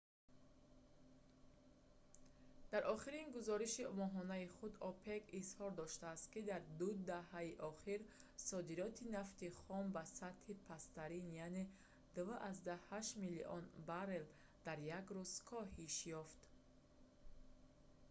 дар охирин гузориши моҳонаи худ опек изҳор доштааст ки дар ду даҳаи охир содироти нафти хом ба сатҳи пасттарин яъне 2,8 миллион баррел дар як рӯз коҳиш ёфт